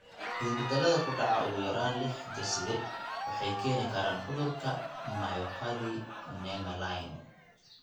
Isbeddellada ku dhaca ugu yaraan lix hidde-side waxay keeni karaan cudurka myopathy nemaline.